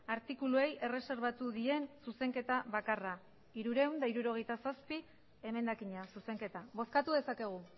artikuluei erreserbatu dien zuzenketa bakarra hirurehun eta hirurogeita zazpi emendakina zuzenketa bozkatu dezakegu